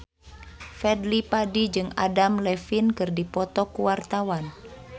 Fadly Padi jeung Adam Levine keur dipoto ku wartawan